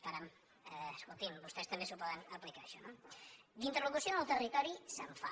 caram escolti’m vostès també s’ho poden aplicar això no d’interlocució en el territori se’n fa